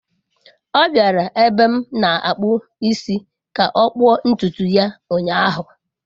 Ọ bịara ebe m na-akpụ isi ka ọ kpụọ ntutu ya ụnyahụ.